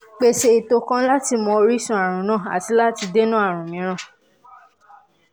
pèsè ètò kan láti mọ orísun ààrùn náà àti láti dènà ààrùn mìíràn